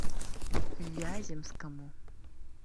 вяземскому